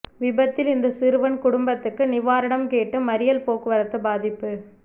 விபத்தில் இறந்த சிறுவன் குடும்பத்துக்கு நிவாரணம் கேட்டு மறியல் போக்குவரத்து பாதிப்பு